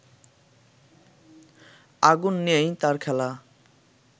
আগুন নিয়েই তাঁর খেলা